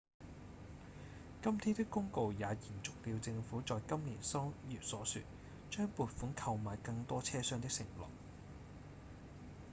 今天的公告也延續了政府在今年三月所說、將撥款購買更多車廂的承諾